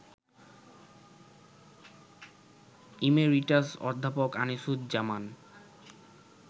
emeritus অধ্যাপক আনিসুজ্জামান